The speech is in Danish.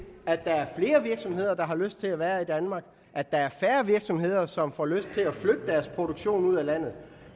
at der er flere virksomheder der har lyst til at være i danmark at der er færre virksomheder som får lyst til at flytte deres produktion ud af landet